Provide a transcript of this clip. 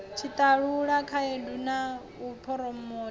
tshiṱalula khaedu na u phuromotha